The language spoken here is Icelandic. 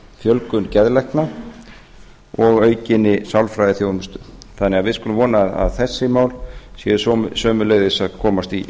fjölgun geðlækna og aukinni sálfræðiþjónustu þannig að við skulum vona að þessi mál séu sömuleiðis að komast í